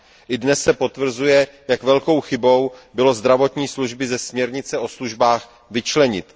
I dnes se potvrzuje, jak velkou chybou bylo zdravotní služby ze směrnice o službách vyčlenit.